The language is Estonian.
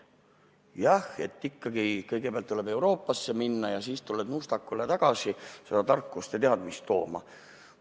Jah, ikka kõigepealt tuleb Euroopasse minna ja siis tuleb Nuustakule tagasi tulla tarkust ja teadmist tooma.